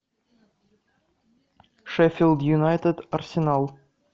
шеффилд юнайтед арсенал